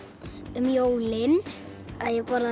um jólin að ég borðaði